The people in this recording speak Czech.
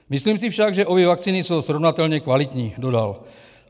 Myslím si však, že obě vakcíny jsou srovnatelně kvalitní, dodal.